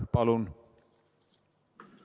Palun!